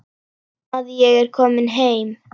Að ég er komin heim.